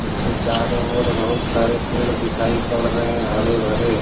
इसके चारों और बहुत सारे पेड़ दिखाई पड़ रहें हरे भरे।